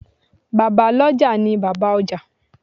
Bàbá lọ́jà ni Bàbá ọjà.